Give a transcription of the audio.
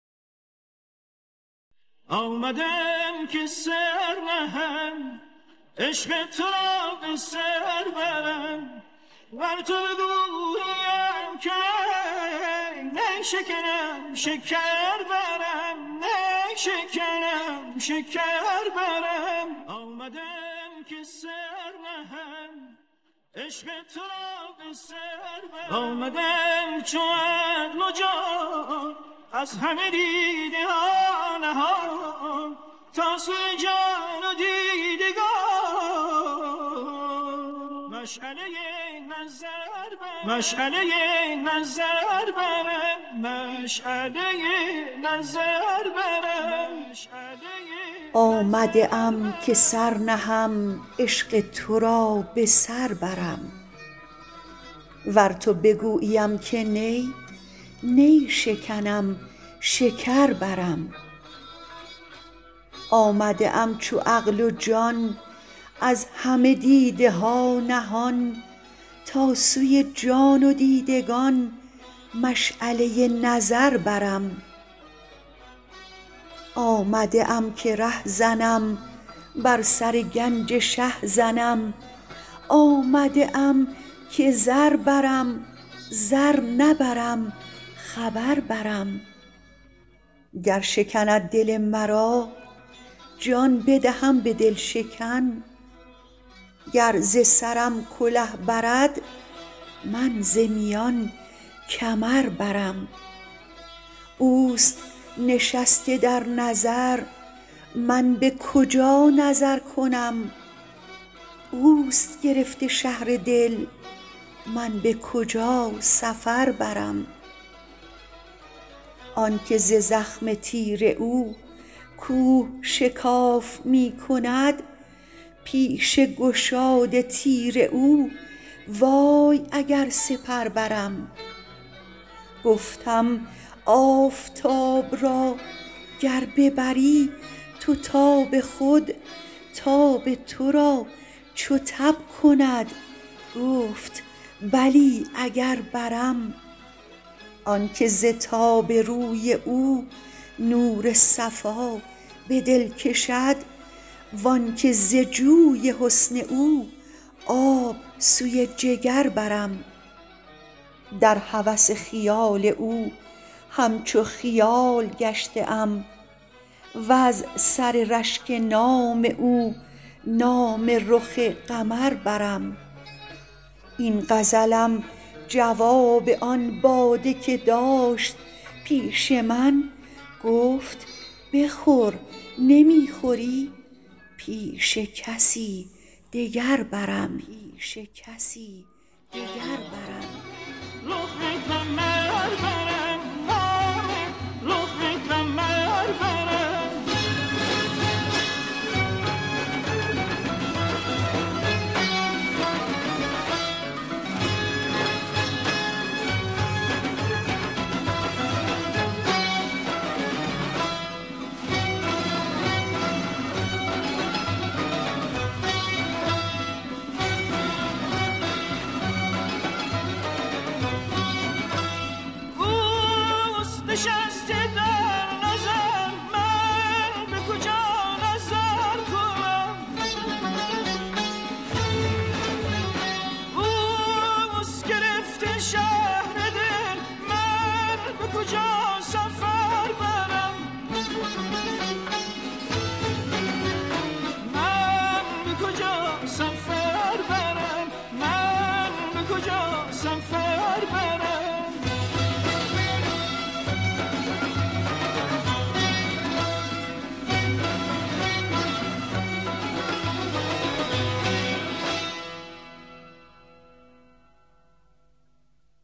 آمده ام که سر نهم عشق تو را به سر برم ور تو بگوییم که نی نی شکنم شکر برم آمده ام چو عقل و جان از همه دیده ها نهان تا سوی جان و دیدگان مشعله نظر برم آمده ام که ره زنم بر سر گنج شه زنم آمده ام که زر برم زر نبرم خبر برم گر شکند دل مرا جان بدهم به دل شکن گر ز سرم کله برد من ز میان کمر برم اوست نشسته در نظر من به کجا نظر کنم اوست گرفته شهر دل من به کجا سفر برم آنک ز زخم تیر او کوه شکاف می کند پیش گشاد تیر او وای اگر سپر برم گفتم آفتاب را گر ببری تو تاب خود تاب تو را چو تب کند گفت بلی اگر برم آنک ز تاب روی او نور صفا به دل کشد و آنک ز جوی حسن او آب سوی جگر برم در هوس خیال او همچو خیال گشته ام وز سر رشک نام او نام رخ قمر برم این غزلم جواب آن باده که داشت پیش من گفت بخور نمی خوری پیش کسی دگر برم